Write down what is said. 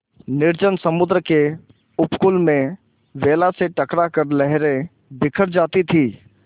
निर्जन समुद्र के उपकूल में वेला से टकरा कर लहरें बिखर जाती थीं